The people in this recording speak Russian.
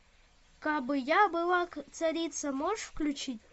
кабы я была царица можешь включить